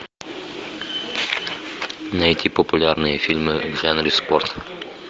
найти популярные фильмы в жанре спорт